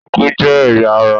Ikùn jẹ́ ẹ̀yà ará